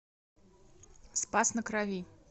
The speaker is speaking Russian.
спас на крови